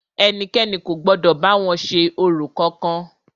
Ẹnikẹ́ni kò gbọdọ̀ bá wọn ṣe orò kankan!